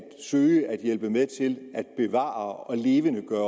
søge at hjælpe med til at bevare og levendegøre